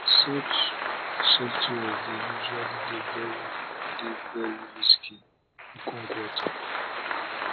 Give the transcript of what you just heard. such softwares dey usually dey very dey very risky okonkwo tok